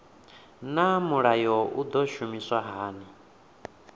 naa mulayo u do shumiswa hani